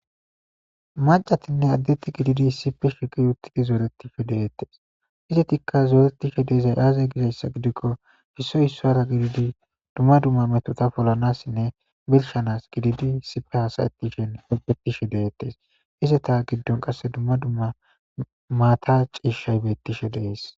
macatinne addetti gididi isippe shiqi uttidi zooretife deettes izetikka zooretishe deezay aaza gizayssa gidikko issoy issoara gididi dumma dumma metota polanassinne bershanas gididi sipe haasayettishen opetishe deettes izeta giddon qasse dumma dumma maata ciishshay bettishe dees